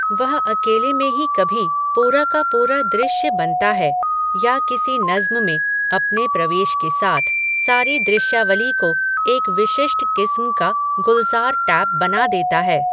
वह अकेले में ही कभी, पूरा का पूरा दृश्य बनता है, या किसी नज़्म में, अपने प्रवेश के साथ, सारी दृश्यावली को, एक विशिष्ट किस्म का, गुलज़ारटैप बना देता है